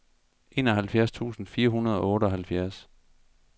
enoghalvfjerds tusind fire hundrede og otteoghalvfjerds